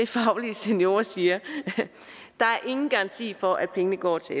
faglige seniorer siger er at der ingen garanti er for at pengene går til